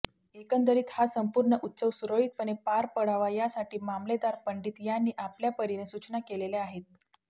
एकंदरीत हा संपूर्ण उत्सव सुरळीतपणे पार पडावा यासाठी मामलेदार पंडीत यांनी आपल्यापरिने सुचना केलेल्या आहेत